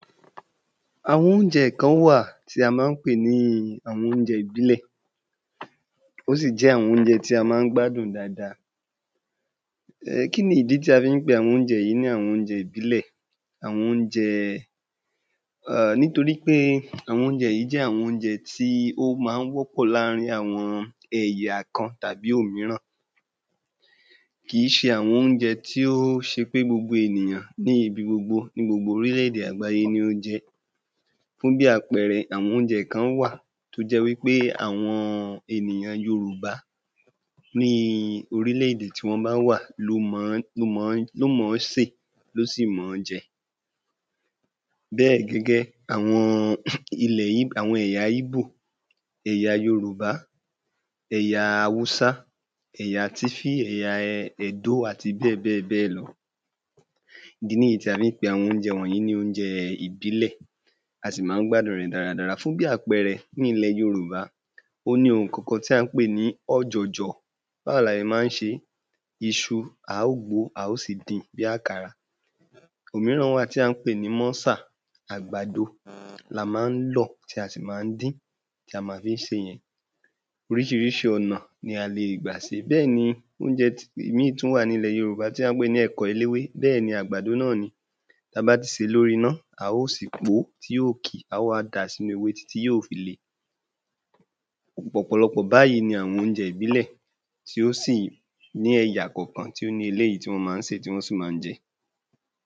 Àwọn óunjẹ kan wà tí a má ń pè ní àwọn óunjẹ ìbílẹ̀ ó sì jẹ́ àwọn óunjẹ í a má ń gbádùn dada. Kí ni ìdí tí a fí ń pe àwọn óunjẹ yí ní àwọn óunjẹ ìbílẹ̀? Àwọn óunjẹ nítorí pé àwọn óunjẹ yí jẹ́ àwọn óunjẹ tí ó ma ń wọ́pọ̀ láàrín àwọn ẹ̀yà kan tàbí òmíràn kìí ṣe àwọn óunjẹ tí ó ṣe pé gbogbo ènìyàn bíi ibi gbogbo ní gbogbo orílèdè àgbáyé ni ó ń jẹ ẹ́. Fún bí àpẹẹrẹ àwọn óunjẹ kan wà tó jẹ́ wí pé àwọn ènìyàn Yorùbá ní orílè-èdè tí wọ́n bá wà ló mọ̀ọ́ sè ló sì mọ̀ọ́ jẹ bẹ́ẹ̀ gẹ́gẹ́ àwọn àwọn ilẹ ẹ̀yà Yíbò, ẹ̀yà Yorùbá, ẹ̀yà Áwúsá, ẹ̀yà tífí ẹ̀yà ẹ̀dó àti bẹ́ẹ̀ bẹ́ẹ̀ bẹ́ẹ̀ lọ. Ìdí níyí tí a fí ń pe àwọn óunjẹ yí ní óunjẹ ìbílẹ̀ a sì má ń gbádùn rẹ̀ dáradára fún bí àpẹẹrẹ ní ilẹ̀ yorùbá ó ní ohun kankan tí à ń pè ní ọjọ̀jọ̀ báwo la e máa ń ṣe iṣu á wú á ó sì din bí àkàrà òmíràn wà tí a ń pè ní mọ́sà àgbàdo la má ń lọ̀ tí a sì má ń dín tí a ma fí ń sè yẹn oríṣiríṣi ọ̀nà ni a lè gbà se bẹ́ẹ̀ ni óunjẹ ìmíì tú wà ní ilẹ̀ yorùbá tí à ń pè ní ẹ̀kọ eléwé bẹ́ẹ̀ ni àgbàdo náà ni ta bá ti sèé lórí iná a ó sì pó tí ó ki a o wá dà sínú ewé títí yóò fi le ọ̀pọ̀lọpọ̀ báyí ni àwọn óunjẹ ìbílẹ̀ tí ó sì ní ẹ̀yà kọ̀kan tí ó ni eléyí tí wọ̀n má ń sèé tí wọn sì má ń jẹ.